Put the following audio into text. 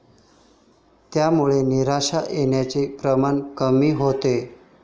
त्यामुळे नैराश्य येण्याचं प्रमाण कमी होतं.